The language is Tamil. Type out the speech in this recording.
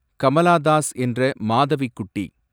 கமலா தாஸ் என்ற மாதவிக்குட்டி